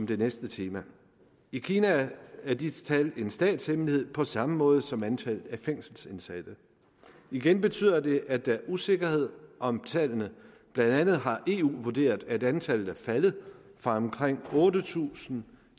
det næste tema i kina er disse tal en statshemmelighed på samme måde som antallet af fængselsindsatte igen betyder det at der er usikkerhed om tallene blandt andet har eu vurderet at antallet er faldet fra omkring otte tusind